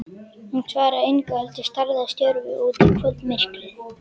Hún svaraði engu heldur starði stjörf út í kvöldmyrkrið.